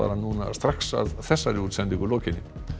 núna strax að þessari útsendingu lokinni